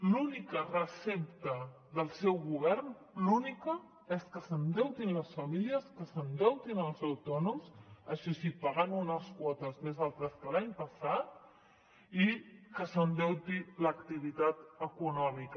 l’única recepta del seu govern l’única és que s’endeutin les famílies que s’endeutin els autònoms això sí pagant unes quotes més altes que l’any passat i que s’endeuti l’activitat econòmica